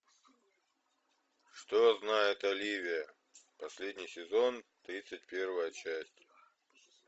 что знает оливия последний сезон тридцать первая часть